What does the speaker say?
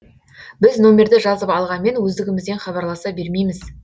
біз нөмірді жазып алғанмен өздігімізден хабарласа бермейміз